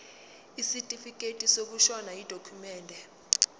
isitifikedi sokushona yidokhumende